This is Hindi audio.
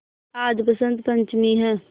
आज बसंत पंचमी हैं